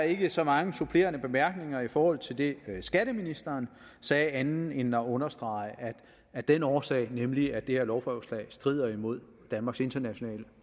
ikke så mange supplerende bemærkninger i forhold til det skatteministeren sagde andet end at understrege at af den årsag nemlig at det her lovforslag strider imod danmarks internationale